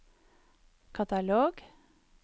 katalog